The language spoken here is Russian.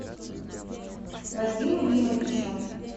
вадиму римовичу